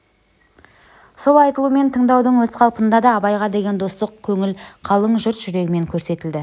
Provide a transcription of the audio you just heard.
сол айтылу мен тыңдаудың өз қалпында да абайға деген достық көңіл қалың жұрт жүрегімен көрсетілді